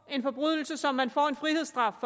en forbrydelse som man får en frihedsstraf